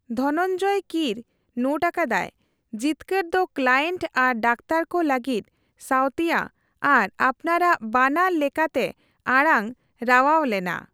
ᱫᱷᱚᱱᱚᱱᱡᱚᱭ ᱠᱤᱨ ᱱᱳᱴ ᱟᱠᱟᱫᱟᱭ, ᱡᱤᱛᱠᱟᱹᱨ ᱫᱚ ᱠᱞᱟᱭᱮᱱᱴ ᱟᱨ ᱰᱟᱠᱛᱟᱨ ᱠᱚ ᱞᱟᱹᱜᱤᱫ ᱥᱟᱣᱛᱤᱭᱟᱹ ᱟᱨ ᱟᱯᱱᱟᱨᱟᱜ ᱵᱟᱱᱟᱨ ᱞᱮᱠᱟᱛᱮ ᱟᱲᱟᱝ ᱨᱟᱣᱟᱣ ᱞᱮᱱᱟ ᱾